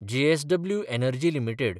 JSW energy limited